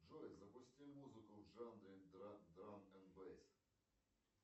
джой запусти музыку в жанре драм н бэйс